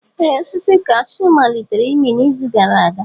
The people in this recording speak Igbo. Ee osisi cashew malitere ịmị n'izu gara aga.